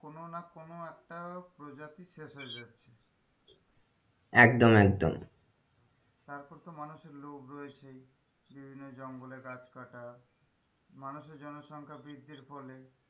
কোন না কোন একটা প্রজাতি শেষ হয়ে যাচ্ছে একদম একদম তারপর তো মানুষের লোভ রয়েছেই যে জন্যে জঙ্গলে গাছ কাটা মানুষের জনসংখা বৃদ্ধির ফলে,